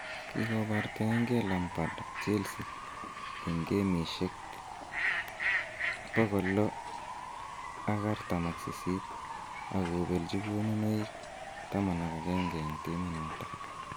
Kigobartaengee Lampard Chelsea en gemisiek 648, ak kobelchi konunoik 11 en timit noton.